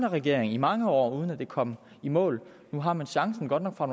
regering i mange år uden at det kom i mål nu har man chancen godt nok fra